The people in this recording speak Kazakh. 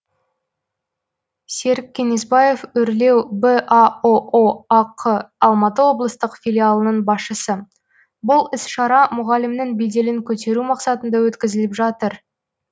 серік кеңесбаев өрлеу баұо ақ алматы облыстық филиалының басшысы бұл іс шара мұғалімнің беделін көтеру мақсатында өткізіліп жатыр